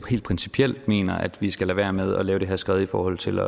helt principielt mener at vi skal lade være med at lave det her skred i forhold til